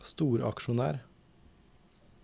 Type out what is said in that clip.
storaksjonær